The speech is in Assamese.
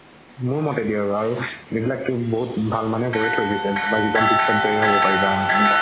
মোৰ মতে দি আৰু যিবিলাক বহুত ভাল মানুহে কয়ে থই গৈছে বা জিৱনতো পাৰিবা এনেকুৱা